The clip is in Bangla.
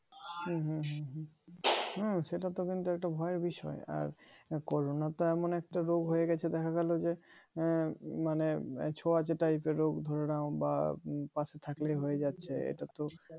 হুম হুম হুম হুম সেটা তো কিন্তু একটা ভয়ের বিষয় আর corona তো এমন একটা রোগ হয়ে গেছে দেখা গেলো যে আহ মানে ছোঁয়াচে type এর রোগ ধরে নাও বা পাশে থাকলেও হয়ে যাচ্ছে এটা তো